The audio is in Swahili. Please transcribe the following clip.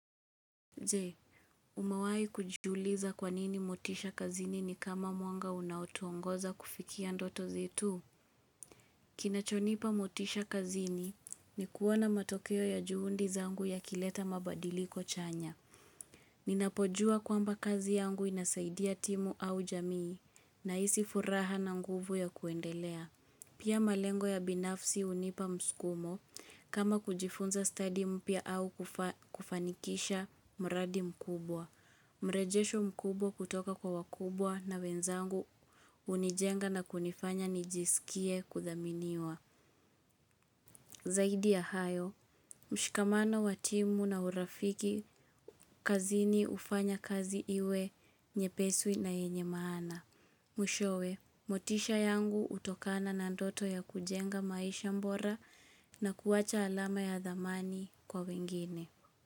Je, umewahi kujiuliza kwa nini motisha kazini ni kama mwanga unaotuongoza kufikia ndoto zetu? Kinachonipa motisha kazini ni kuona matokeo ya juhudi zangu yakileta mabadiliko chanya. Ninapojua kwamba kazi yangu inasaidia timu au jamii nahisi furaha na nguvu ya kuendelea. Pia malengo ya binafsi hunipa msukumo kama kujifunza study mpya au kufanikisha mradi mkubwa. Mrejesho mkubwa kutoka kwa wakubwa na wenzangu hunijenga na kunifanya nijisikie kudhaminiwa. Zaidi ya hayo, mshikamano wa timu na urafiki kazini hufanya kazi iwe nyepesi na yenye maana. Mwishowi, motisha yangu hutokana na ndoto ya kujenga maisha bora na kuwacha alama ya dhamani kwa wengine.